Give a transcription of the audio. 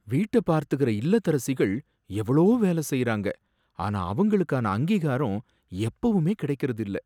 வீட்ட பார்த்துக்கற இல்லத்தரசிகள் எவ்ளோ வேல செய்யுறாங்க, ஆனா அவங்களுக்கான அங்கீகாரம் எப்பவுமே கிடைக்கறது இல்ல